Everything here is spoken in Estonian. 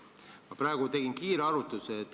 Ma praegu tegin kiire arvutuse.